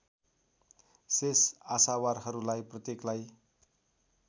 शेष आशावारहरूमा प्रत्येकलाई